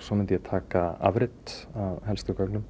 svo myndi ég taka afrit af helstu gögnum